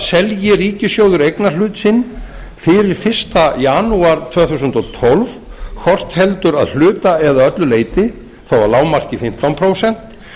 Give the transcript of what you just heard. selji ríkissjóður eignarhlut sinn fyrir fyrsta janúar tvö þúsund og tólf hvort heldur að hluta eða öllu leyti þó að lágmarki fimmtán prósent